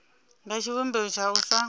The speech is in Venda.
nga tshivhumbeo tsha u sa